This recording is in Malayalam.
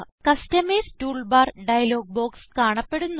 കസ്റ്റമൈസ് ടൂൾബാർ ഡയലോഗ് ബോക്സ് കാണപ്പെടുന്നു